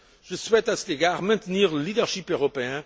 Je souhaite, à cet égard, maintenir le leadership européen.